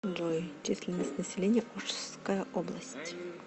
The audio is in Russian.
джой численность населения ошская область